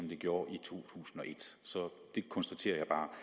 det gjorde i to tusind og et så det konstaterer